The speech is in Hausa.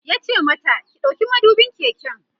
yace mata "ki ɗauki madubin keken!"